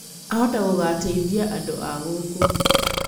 Ahota gũgateithia andũ a gũkũ.